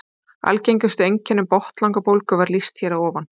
algengustu einkennum botnlangabólgu var lýst hér að ofan